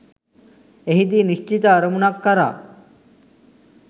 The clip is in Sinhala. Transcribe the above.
එහිදී නිශ්චිත අරමුණක් කරා